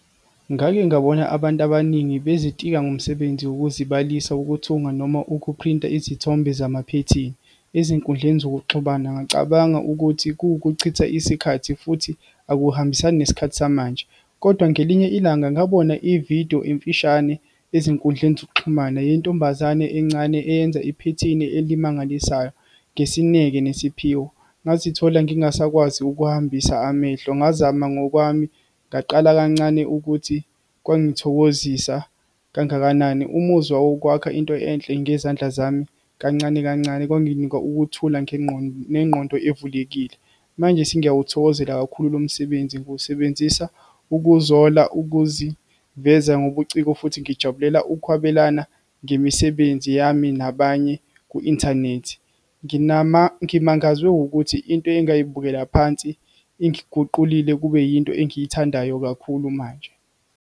Ngake ngabona abantu abaningi bezitika ngomsebenzi wokuzibalisa wokuthunga, noma ukuphrinta izithombe zamaphethini, ezinkundleni zokuxhumana, ngacabanga ukuthi kuwukuchitha isikhathi, futhi akuhambisani nesikhathi samanje. Kodwa ngelinye ilanga ngabona ividiyo emfishane ezinkundleni zokuxhumana, yentombazane encane, eyenza iphethini elimangalisayo, ngesineke nesiphiwo. Ngazithola ngingasakwazi ukuhambisa amehlo, ngazama ngokwami ngaqala kancane ukuthi kwangithokozisa kangakanani. Umuzwa wokwakha into enhle ngezandla zami kancane kancane kwanginika ukuthula nengqondo evulekile. Manje sengiyawuthokozela kakhulu lo msebenzi, ngiwusebenzisa ukuzola, ukuziveza ngobuciko, futhi ngijabulela ukwabelana ngemisebenzi yami nabanye ku-inthanethi. Ngimangazwe ukuthi into engayibukela phansi, ingiguqulile kube yinto engiyithandayo kakhulu manje.